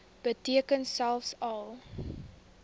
beteken selfs al